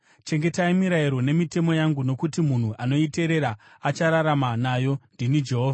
Chengetai mirayiro nemitemo yangu nokuti munhu anoiteerera achararama nayo. Ndini Jehovha.